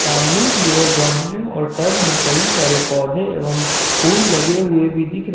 सामने की ओर गमले और टब में कई सारे पौधे एवं फूल लगे हुए भी दिख रहे--